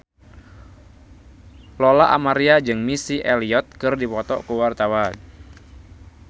Lola Amaria jeung Missy Elliott keur dipoto ku wartawan